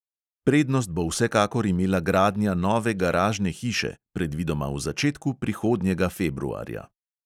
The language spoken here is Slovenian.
Prednost bo vsekakor imela gradnja nove garažne hiše, predvidoma v začetku prihodnjega februarja.